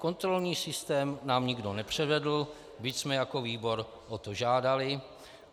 Kontrolní systém nám nikdo nepřevedl , byť jsme jako výbor o to žádali.